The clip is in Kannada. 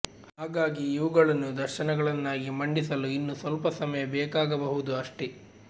ಹಾಗಾಗಿ ಇವುಗಳನ್ನು ದರ್ಶನಗಳನ್ನಾಗಿ ಮಂಡಿಸಲು ಇನ್ನೂ ಸ್ವಲ್ಪ ಸಮಯ ಬೇಕಾಗಬಹುದು ಅಷ್ಟೆ